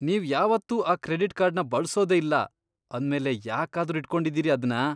ನೀವ್ ಯಾವತ್ತೂ ಆ ಕ್ರೆಡಿಟ್ ಕಾರ್ಡ್ನ ಬಳ್ಸೋದೇ ಇಲ್ಲ ಅಂದ್ಮೇಲೆ ಯಾಕಾದ್ರೂ ಇಟ್ಕೊಂಡಿದೀರಿ ಅದ್ನ?